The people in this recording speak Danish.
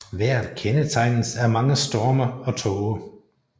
Vejret kendetegnes af mange storme og tåge